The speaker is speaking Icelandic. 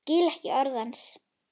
Skil ekki orð hans.